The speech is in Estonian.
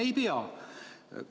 Ei pea!